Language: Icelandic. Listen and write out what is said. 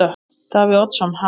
Davíð Oddsson: Ha?